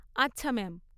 আচ্ছা ম্যাম।